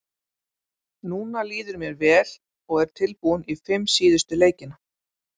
Núna líður mér vel og er tilbúinn í fimm síðustu leikina.